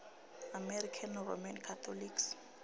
american roman catholics